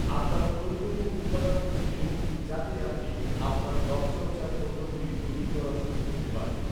আপনার প্রয়োজনীয় উপাদানগুলি কিনুন, যাতে আপনি আপনার ত্বকচর্চার পণ্যগুলি তৈরি করা শুরু করতে পারেন।